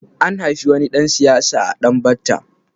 An haifi wani ɗan siyasa a Danbatta.